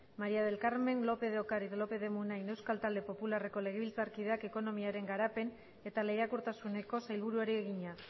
maría del carmen lópez de ocariz lópez de munain euskal talde popularreko legebiltzarkideak ekonomiaren garapen eta lehiakortasuneko sailburuari egina